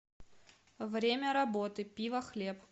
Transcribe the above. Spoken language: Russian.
время работы пивохлеб